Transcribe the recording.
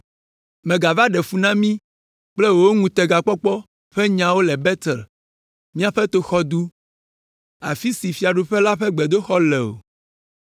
Mègava ɖe fu na mí kple wò ŋutegakpɔkpɔ ƒe nyawo le Betel, míaƒe toxɔdu, afi si fiaɖuƒe la ƒe gbedoxɔ le o!”